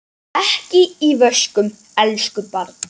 Ekki í vöskum, elsku barn.